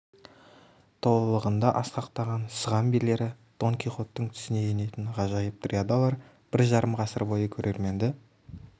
толылығында асқақтаған сыған билері дон кихоттың түсіне енетін ғажайып дриадалар бір жарым ғасыр бойы көрерменді